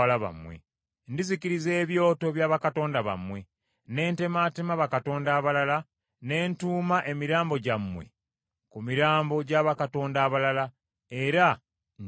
Ndizikiriza ebyoto bya bakatonda bammwe, ne ntemaatema bakatonda abalala, ne ntuuma emirambo gyammwe ku mirambo gya bakatonda abalala; era ndibakyawa.